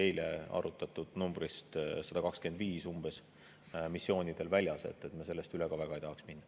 Eile arutatud numbrist 125 – nii palju on umbes missioonidel – me väga üle ka ei tahaks minna.